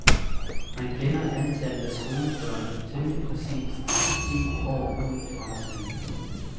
Man kender antallet af skolebørn temmelig præcist ti år ud i fremtiden.